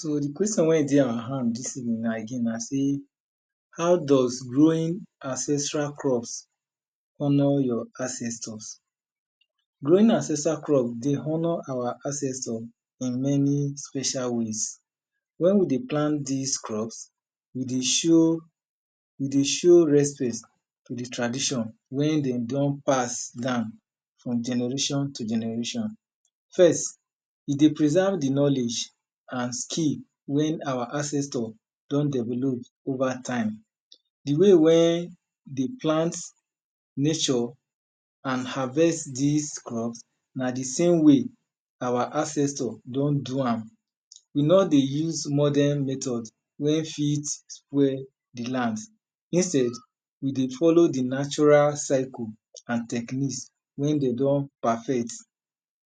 So, di question why dey our hand dis evening now again dis evening na sey, how does growing ancestral crops honor your ancestors Growing ancestral crops dey honor our ancestors in many special ways When we dey plant these crops, we dey show we dey show respect to di tradition wey dem don pass down from generation to generation First e dey preserve di knowledge and skills wey our ancestors don develop over time Di way wen dem plant, nurture and harvest these crops na di some way our ancestors don do am We nor dey use modern methods wey fit spoil the lands Instead, we dey follow the natural cycle and techniques wey dem don perfect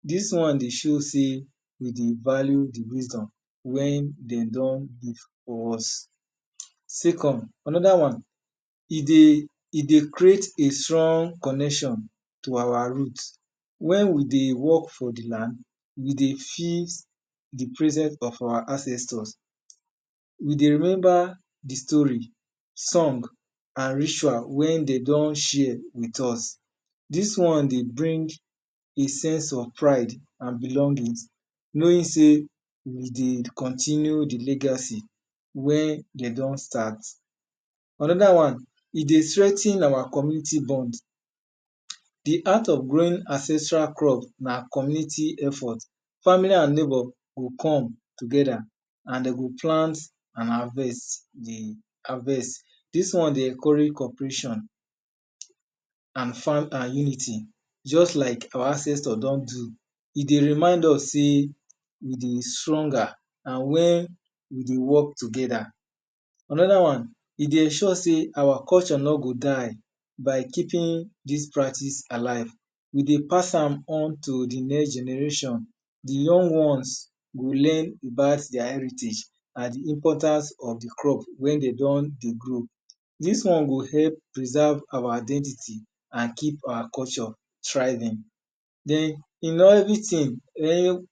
dis one dey show sey we value di natural wisdom wey dem leave for us second, Another one E dey create a strong connection to our roots When we dey work for the land, we dey feel the presence of our ancestors We dey remember di story, song and ritual wey dem don share with us dis one dey bring a sense of pride and belonging knowing sey we dey continue di legacy wey dem don start Another one E dey strengthen our community bonds The art of growing ancestral crops na community effort Family and neighbors go come together, and dem go plant and harvest di harvest dis one dey encourage cooperation farm and unity just like our ancestors don do E dey remind us sey we dey stronger when we dey work together Another one E dey ensure sey our culture nor go die. By keeping dis practice alive we dey pass am on to the next generation, di young ones go learn about their heritage and di importance of di crop when dem don dey grow Dis one go help preserve our identity, and keep our culture thriving Then, in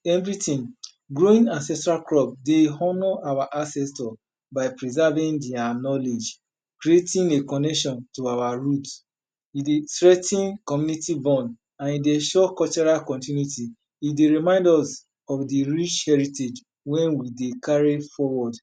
everything, growing ancestral crops dey honor our ancestors by preserving their knowledge, creating a connection to our roots E dey strengthen community bonds and e dey ensure cultural continuity E dey remind us of di rich heritage wey we dey carry forward